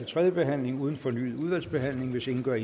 tredje behandling uden fornyet udvalgsbehandling hvis ingen gør